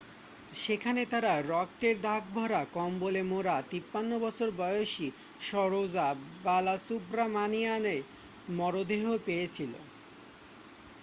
সেখানে তারা রক্তের দাগ ভরা কম্বলে মোড়া 53 বছর বয়সী সরোজা বালাসুব্রামানিয়ানের মরদেহ পেয়েছিল